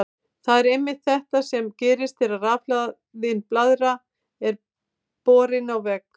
Það er einmitt þetta sem gerist þegar rafhlaðin blaðra er borin að vegg.